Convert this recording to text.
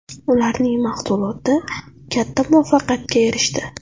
Ularning mahsuloti katta muvaffaqiyatga erishdi.